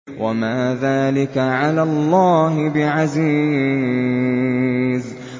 وَمَا ذَٰلِكَ عَلَى اللَّهِ بِعَزِيزٍ